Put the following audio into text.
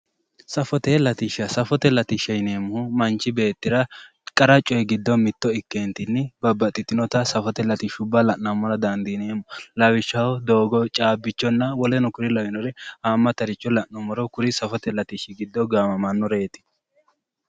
Safote latishshaati yineemmohu manchi beettira qara coy giddo mitto ikkeentinni babbaxxitinota safote latishshuwa la'nammora dandiineemmo lawishshaho doogo caabbichonna woleno kuri lawinore haammataricho la'nummoro kuri safote latishshi giddo gaamamannoreeti